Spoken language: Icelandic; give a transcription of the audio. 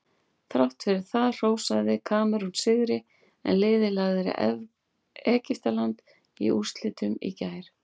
Þrátt fyrir það hrósaði Kamerún sigri en liðið lagði Egyptaland í úrslitum í gær.